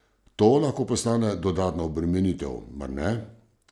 To lahko postane dodatna obremenitev, mar ne?